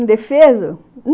Indefeso.